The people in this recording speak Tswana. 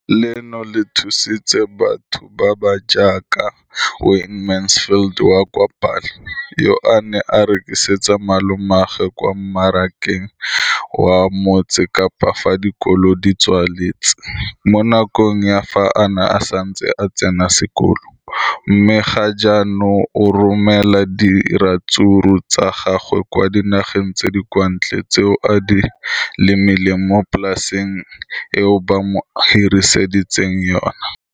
leno le thusitse batho ba ba jaaka Wayne Mansfield, 33, wa kwa Paarl, yo a neng a rekisetsa malomagwe kwa Marakeng wa Motsekapa fa dikolo di tswaletse, mo nakong ya fa a ne a santse a tsena sekolo, mme ga jaanong o romela diratsuru tsa gagwe kwa dinageng tsa kwa ntle tseo a di lemileng mo polaseng eo ba mo hiriseditseng yona.